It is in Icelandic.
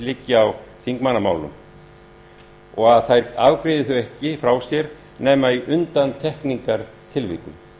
liggi á þingmannamálum og að þær afgreiði þau ekki frá sér nema í undantekningartilvikum